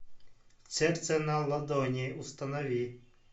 сердце на ладони установи